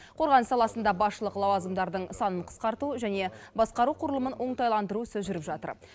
қорғаныс саласында басшылық лауазымдардың санын қысқарту және басқару құрылымын оңтайландыру ісі жүріп жатыр